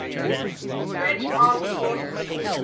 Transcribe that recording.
french armed forces